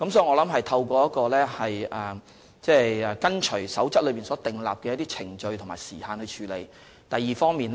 我認為當局按照《守則》所訂程序和時限處理各項申請。